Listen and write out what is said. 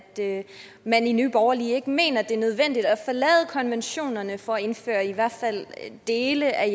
man i nye borgerlige ikke mener at det er nødvendigt at forlade konventionerne for at indføre i hvert fald dele af